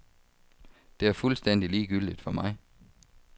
Det er fuldstændig ligegyldigt for mig.